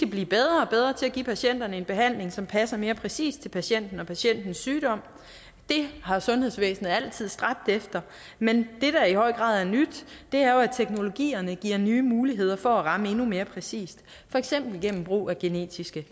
blive bedre og bedre til at give patienterne en behandling som passer mere præcist til patienten og patientens sygdom det har sundhedsvæsenet altid stræbt efter men det der i høj grad er nyt er at teknologierne giver nye muligheder for at ramme endnu mere præcist for eksempel igennem brug af genetiske